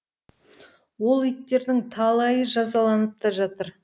ол иттердің талайы жазаланып та жатыр